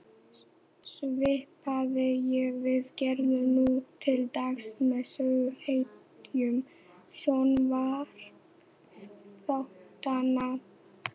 Svipað og við gerum nú til dags með söguhetjum sjónvarpsþáttanna.